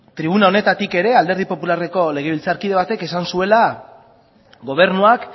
tribuna honetatik ere alderdi popularreko legebiltzarkide batek esan zuela gobernuak